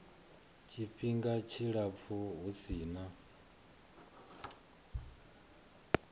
tshifhinga tshilapfu hu si na